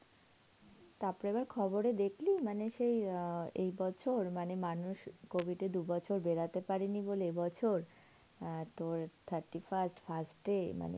তারপরে আবার খবরে দেখলি?? মানে সেই এই অ্যাঁ বছর মানে মানুষ covid এ দু'বছর বেড়াতে পারেনি বলে এ বছর, তোর অ্যাঁ thirty first, first এ মানে